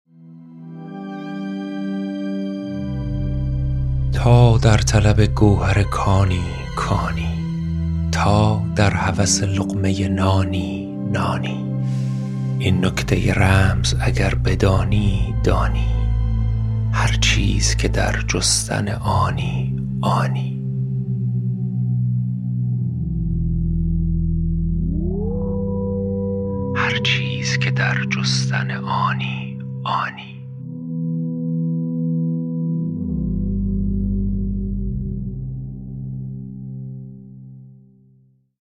تا در طلب گوهر کانی کانی تا در هوس لقمه نانی نانی این نکته رمز اگر بدانی دانی هر چیز که در جستن آنی آنی